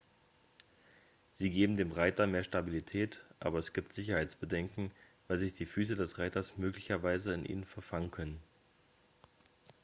sie geben dem reiter mehr stabilität aber es gibt sicherheitsbedenken weil sich die füße des reiters möglicherweise in ihnen verfangen können